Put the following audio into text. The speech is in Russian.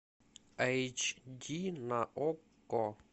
эйч ди на окко